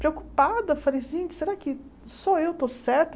Preocupada, falei, gente, será que só eu estou certa?